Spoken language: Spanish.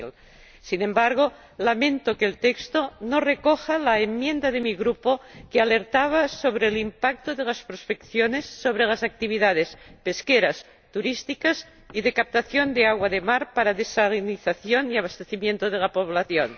2000. Sin embargo, lamento que el texto no recoja la enmienda de mi Grupo, que alertaba sobre el impacto de las prospecciones sobre las actividades pesqueras, turísticas y de captación de agua de mar para desalinización y abastecimiento de la población.